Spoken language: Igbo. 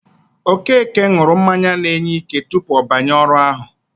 Okeke ṅụrụ mmanya na-enye ike tupu ọ banye ọrụ ahụ.